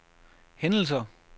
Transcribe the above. hændelser